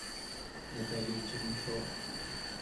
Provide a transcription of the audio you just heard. наталья чернышова